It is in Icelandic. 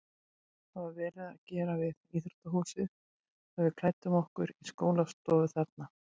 Það var verið að gera við íþróttahúsið svo við klæddum okkur í skólastofu þarna.